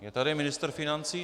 Je tady ministr financí?